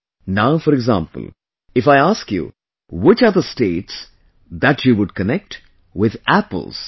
Now, for example, if I ask you which the states that you would connect with Apples are